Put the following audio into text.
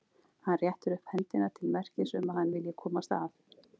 Hann réttir upp hendina til merkis um að hann vilji komast að.